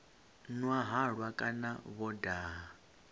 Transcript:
nwa halwa kana vho daha